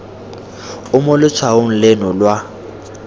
o mo letshwaong leno lwa